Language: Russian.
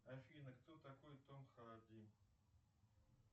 афина кто такой том харди